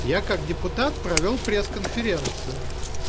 я как депутат провёл пресс-конференцию